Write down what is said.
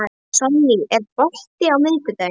Sonný, er bolti á miðvikudaginn?